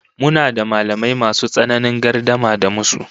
Muna da mallamai masu tsananin gardama da musu